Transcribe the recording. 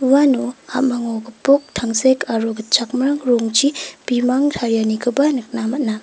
uano ha·mango gipok tangsek aro gitchakmrang rongchi bimang tarianikoba nikna man·a.